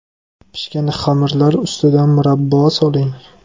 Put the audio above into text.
Pishgan xamirlar ustidan murabbo soling.